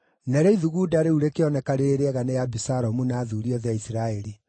Narĩo ithugunda rĩu rĩkĩoneka rĩrĩ rĩega nĩ Abisalomu na athuuri othe a Isiraeli.